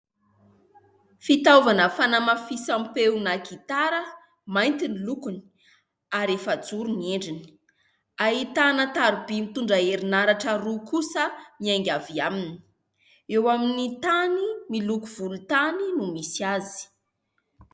Fitaovana fanamafisam-peo na gitara mainty ny lokony ary efajoro ny endrina, ahitana taroby mitondra herinaratra roa kosa miainga avy aminy ; eo amin'ny tany miloko volontany no misy azy.